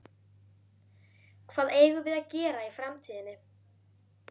Hvað eigum við að gera í framtíðinni?